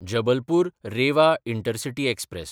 जबलपूर–रेवा intercity express